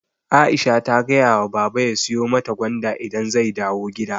Aisha ta gayawa baba ya siyu mata gwanda idan zai dawu gida